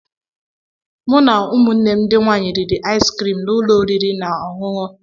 Mụ na ụmụnne m ndị nwanyị riri aịs criim n'ụlọ n'ụlọ oriri na ọṅụṅụ.